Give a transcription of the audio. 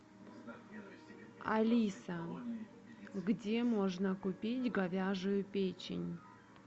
алиса где можно купить говяжью печень